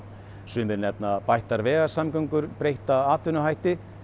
sumir nefna bættar vegasamgöngur breytta atvinnuhætti